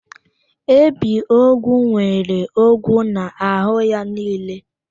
Ebiogwu nwere ogwu n'ahụ ya niile.